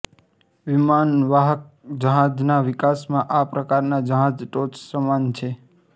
વિમાનવાહક જહાજના વિકાસમાં આ પ્રકારના જહાજ ટોચ સમાન છે